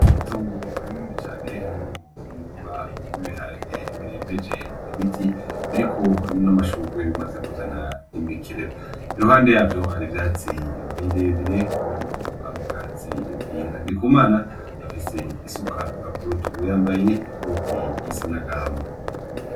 Itongo rinini cane ririmwo umurima w'ibiharage birembeje ibiti biriko n'amashurwe bimaze kuzana imikerera iruhande yavyo hari ivyatsi birebire ubona ko ari ubwatsi bwinka, Ndikumana afise isuka k'urutugu yambaye ikoti risa n'agahama.